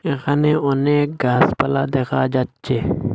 এখানে অনেক গাছপালা দেখা যাচ্ছে।